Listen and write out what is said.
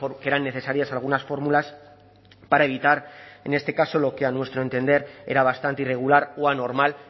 que eran necesarias algunas fórmulas para evitar en este caso lo que a nuestro entender era bastante irregular o anormal